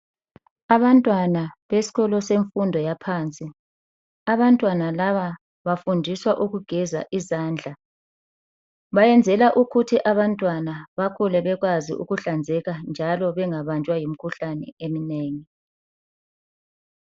Abantwana besikolo semfundo yaphansi. Abantwana laba bafundiswa ukugeza izandla. Bayenzela ukuthi abantwana bakhule bekwazi ukuhlanzeka njalo bengabanjwa yimikhuhlane eminengi.